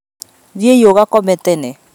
Thiĩ ugakome tene